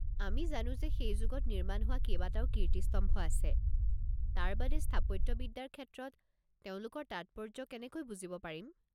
আমি জানো যে সেই যুগত নিৰ্মাণ হোৱা কেইবাটাও কীৰ্তিস্তম্ভ আছে, তাৰ বাদে, স্থাপত্যবিদ্যাৰ ক্ষেত্ৰত তেওঁলোকৰ তাৎপৰ্য্য কেনেকৈ বুজিব পাৰিম?